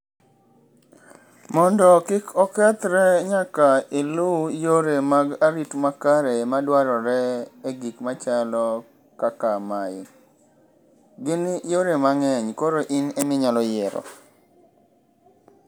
Mondo kik okethre nyaka ilu yore mag arit makare madwarore e gik machalo kaka mae. Gin yore mang'eny koro in eminyalo yiero.